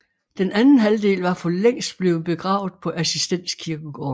Den anden halvdel var for længst blevet begravet på Assistens Kirkegård